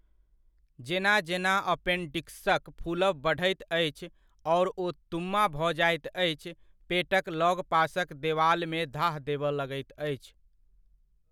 जेना जेना अपेन्डिक्सक फुलब बढ़ैत अछि आओर ओ तुम्मा भऽ जाइत अछि, पेटक लगपासक देवालमे धाह देबय लगैत अछि।